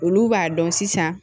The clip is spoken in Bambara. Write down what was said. Olu b'a dɔn sisan